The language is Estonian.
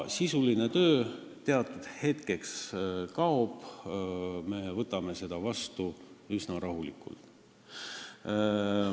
Sisuline töö teatud hetkeks kaob, me võtame seda üsna rahulikult.